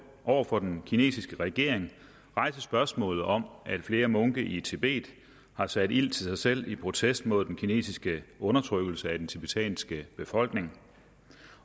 over for den kinesiske regering rejse spørgsmålet om at flere munke i tibet har sat ild til sig selv i protest mod den kinesiske undertrykkelse af den tibetanske befolkning